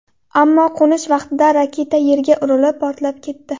Ammo qo‘nish vaqtida raketa yerga urilib, portlab ketdi.